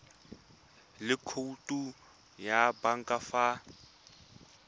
le khoutu ya banka fa